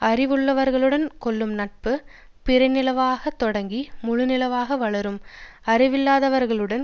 அறிவுள்ளவர்களுடன் கொள்ளும் நட்பு பிறைநிலவாகத் தொடங்கி முழுநிலவாக வளரும் அறிவில்லாதவர்களுடன்